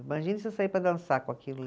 Imagina você sair para dançar com aquilo